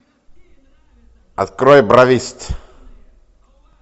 открой бравист